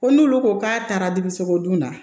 Ko n'olu ko k'a taara dirisogodon na